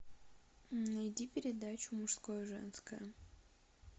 найди передачу мужское женское